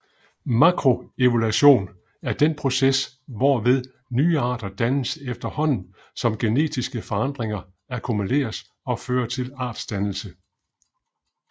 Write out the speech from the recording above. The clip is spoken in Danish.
Makroevolution er den proces hvorved nye arter dannes efterhånden som genetiske forandringer akkumuleres og fører til artsdannelse